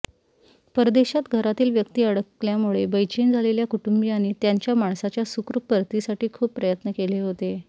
परदेशात घरातील व्यक्ति अडकल्यामुळे बैचेन झालेल्या कुटुंबियांनी त्यांच्या माणसाच्या सुखरुप परतीसाठी खूप प्रयत्न केले होते